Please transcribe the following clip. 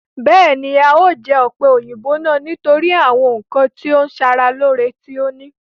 Bẹ́ẹ̀ni, a o jẹ ọ̀pẹ̀-òyìnbò náà nítorí àwọn ǹkan tí ó ń sara lore tí ó ní